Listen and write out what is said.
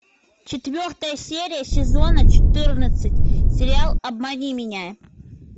четвертая серия сезона четырнадцать сериал обмани меня